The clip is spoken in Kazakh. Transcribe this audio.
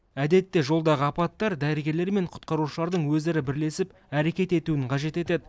әдетте жолдағы апаттар дәрігерлер мен құтқарушылардың өзара бірлесіп әрекет етуін қажет етеді